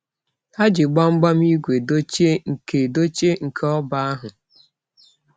Ha ji gbangbam igwe dochie nke dochie nke oba ahu.